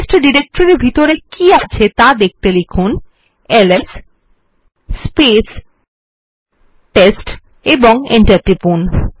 test ডিরেক্টরির ভিতরে কী আছে ত়া দেখতে লিখুন এলএস এবং এন্টার টিপুন